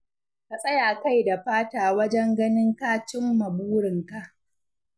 Ka tsaya kai da fata wajen ganin ka cin ma burinka.